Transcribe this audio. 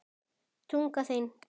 Tunga þín blaut.